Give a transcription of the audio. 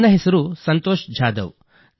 ನನ್ನ ಹೆಸರು ಸಂತೋಷ ಜಾಧವ್